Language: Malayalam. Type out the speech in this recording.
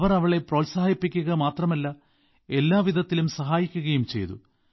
അവർ അവളെ പ്രോത്സാഹിപ്പിക്കുക മാത്രമല്ല എല്ലാവിധത്തിലും സഹായിക്കുകയും ചെയ്തു